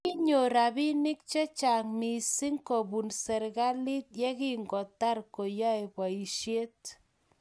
Kinyor robinik chechang missing kobun serkalit ye kingotar koyoei boisiet